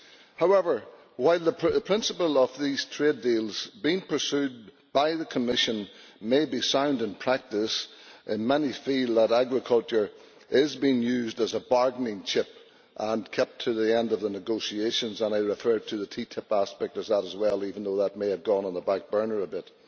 However, while the principle of these trade deals being pursued by the Commission may be sound in practice, many feel that agriculture is being used as a bargaining chip and kept to the end of the negotiations and I refer to the TTIP aspect of that as well, even though that may have gone on the back burner a bit